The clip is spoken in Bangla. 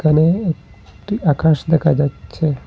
এখানে একটি আকাশ দেখা যাচ্ছে।